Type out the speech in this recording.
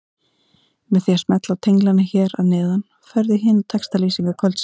Með því að smella á tenglana hér að neðan ferðu í hinar textalýsingar kvöldsins.